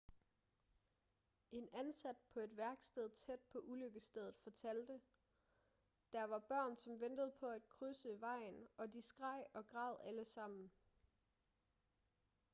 en ansat på et værksted tæt på ulykkesstedet fortalte der var børn som ventede på at krydse vejen og de skreg og græd alle sammen